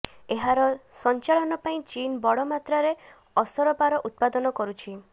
ଏହାର ସଂଚାଳନ ପାଇଁ ଚୀନ ବଡ ମାତ୍ରାରେ ଅସରପାର ଉତ୍ପାଦନ କରୁଛି